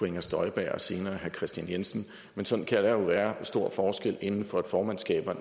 inger støjberg og senere herre kristian jensen men sådan kan der jo være store forskelle inden for et formandskab med